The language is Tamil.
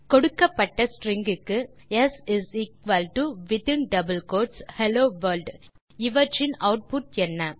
கொடுக்கப்பட்ட ஸ்ட்ரிங் க்கு ஸ் within double quotes hello world இவற்றின் ஆட்புட் என்ன